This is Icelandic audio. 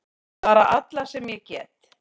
Bara alla sem ég get!